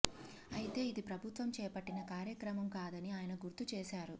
అయితే ఇది ప్రభుత్వం చేపట్టిన కార్యక్రమం కాదని ఆయన గుర్తు చేశారు